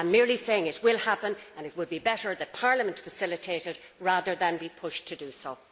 I am merely saying it will happen, and it would be better that Parliament facilitate it rather than be pushed to do so.